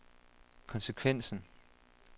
konsekvensen